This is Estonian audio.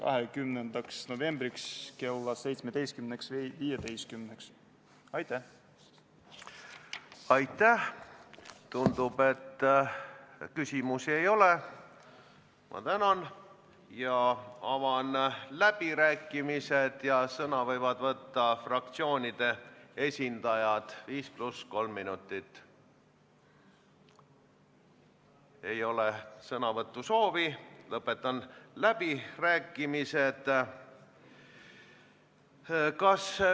Aga ma ei tulnud tegema siia lugemise katkestamise ettepanekut, sest, head sõbrad, kui esimene muudatusettepanek leiab saalis toetust, siis juhatusel on kohustus eelnõu lugemine katkestada, sest meil kõigil siin, ka teil, head koalitsioonisaadikud, ei ole olnud võimalust teha muudatusettepanekuid raudteeseaduse kohta.